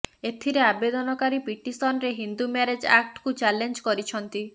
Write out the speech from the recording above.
ଏଥିରେ ଆବେଦନକାରୀ ପିଟିସନରେ ହିନ୍ଦୁ ମ୍ୟାରେଜ୍ ଆକ୍ଟକୁ ଚାଲେଞ୍ଜ କରିଛନ୍ତି